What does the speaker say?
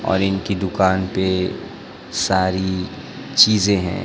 और इनकी दुकान पे सारी चीजे है।